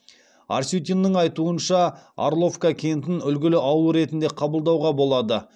арсютиннің айтуынша орловка кентін үлгілі ауыл ретінде қабылдауға болады